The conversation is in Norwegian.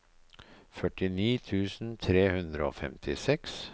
førtini tusen tre hundre og femtiseks